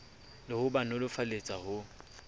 le ho ba nolofaletsa ho